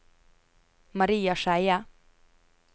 Maria Skeie